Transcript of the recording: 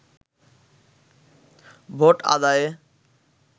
vote আদায়ে